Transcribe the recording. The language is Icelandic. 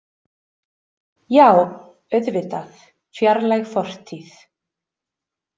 Já, auðvitað, fjarlæg fortíð.